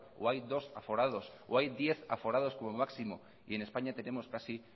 o hay dos aforados o hay diez aforados como máximo y en españa tenemos casi